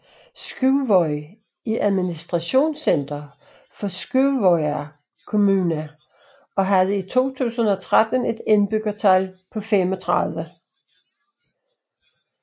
Skúvoy er administrationscenter for Skúvoyar kommuna og havde i 2013 et indbyggertal på 35